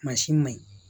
Mansin ma ɲi